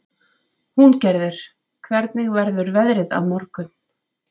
Húngerður, hvernig verður veðrið á morgun?